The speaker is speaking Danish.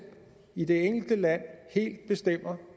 i det enkelte land helt bestemmer